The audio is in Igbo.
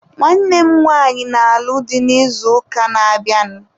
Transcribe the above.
Nwanne m nwaanyị na-alụ di n'izuụka na-abịanụ.